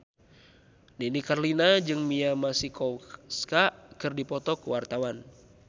Nini Carlina jeung Mia Masikowska keur dipoto ku wartawan